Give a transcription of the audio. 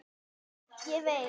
Ég veit